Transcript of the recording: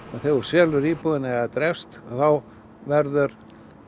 þegar þú selur íbúðina eða drepst þá verður